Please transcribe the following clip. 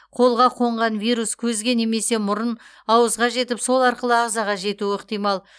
қолға қонған вирус көзге немесе мұрын ауызға жетіп сол арқылы ағзаға жетуі ықтимал